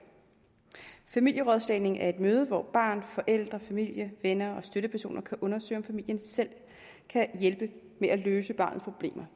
familierådslagning er et møde hvor barn forældre familie venner og støttepersoner kan undersøge om familien selv kan hjælpe med at løse barnets problemer